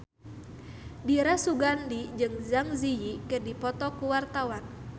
Dira Sugandi jeung Zang Zi Yi keur dipoto ku wartawan